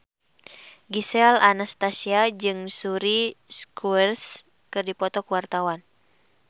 Gisel Anastasia jeung Suri Cruise keur dipoto ku wartawan